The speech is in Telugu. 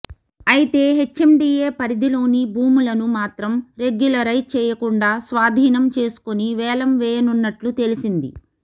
అయితే హెచ్ఎండీఏ పరిధిలోని భూములను మాత్రం రెగ్యులరైజ్ చేయకుండా స్వాధీనం చేసుకుని వేలం వేయనున్నట్లు తెలిసింది